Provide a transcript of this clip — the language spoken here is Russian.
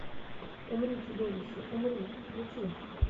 умри чудовище умри включи